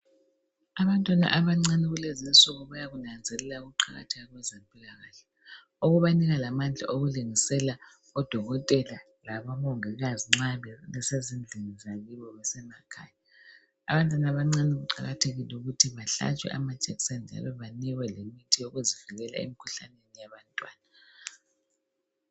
Abantwana abancane kulezinsuku bayakunanzelela ukuqakatheka kwezempilakahle. Okubanika lamandla okulungisela odokotela labomongikazi nxa besezindlini zakibo besemakhaya. Abantwana abancane kuqakathekile ukuthi bahlatshwe amajekiseni njalo banikwe lemithi yokuzivikela emkhuhlaneni yabantwana.